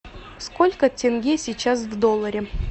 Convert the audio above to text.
сколько тенге сейчас в долларе